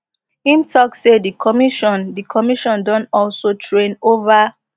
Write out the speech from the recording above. im tok say di commission di commission don also train ova